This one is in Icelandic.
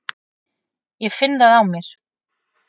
Ég finn það á mér.